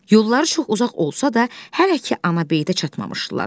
Yolları çox uzaq olsa da, hələ ki anabeytə çatmamışdılar.